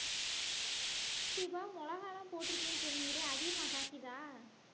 ஏன் தீபா மிளகாய் எல்லாம் போட்டிருக்கேன்னு சொன்னியே அதிகமா காய்க்குதா